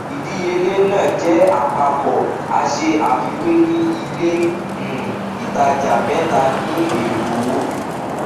ìdíyelé náà jẹ àpapọ a ṣe àfiwé ní ilé um ìtajà mẹta ní èkó